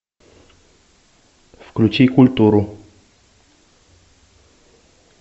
включи культуру